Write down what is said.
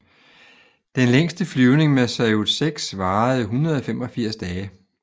Den længste flyvning med Saljut 6 varede 185 dage